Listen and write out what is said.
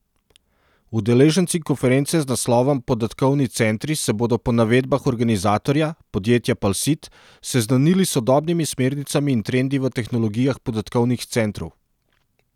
Udeleženci konference z naslovom Podatkovni centri se bodo po navedbah organizatorja, podjetja Palsit, seznanili s sodobnimi smernicami in trendi v tehnologijah podatkovnih centrov.